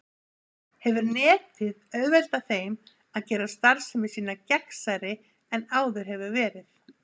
Þannig hefur Netið auðveldað þeim að gera starfsemi sína gegnsærri en áður hefur verið.